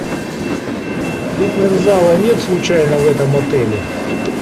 фитнес зала нет случайно в этом отеле